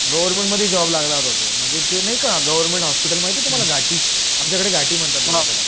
government मध्ये job लागला तो म्हणजे ते नाही का हॉस्पिटल माहिती ये तुम्हाला घाटी आमच्याकडे घाटी म्हणतात बघा त्याला